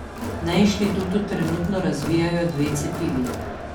Na inštitutu trenutno razvijajo dve cepivi.